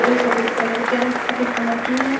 जो सफेद कलर के रह सफेद कलर के हैं।